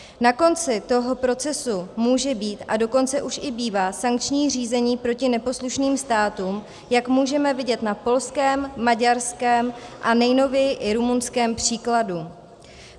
Na konci toho procesu může být, a dokonce už i bývá, sankční řízení proti neposlušným státům, jak můžeme vidět na polském, maďarském a nejnověji i rumunském příkladu.